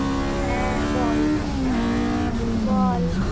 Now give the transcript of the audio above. হ্যাঁ বল বল